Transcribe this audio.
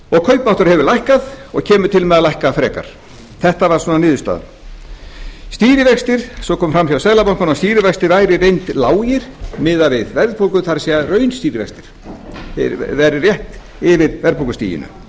kaupmáttur hefur lækkað og kemur til með að lækka frekar þetta var svona niðurstaðan það kom fram hjá seðlabankanum að stýrivextir væru í reynd lágir miðað við verðbólgu það er raunstýrivextir þeir væru rétt yfir verðbólgustiginu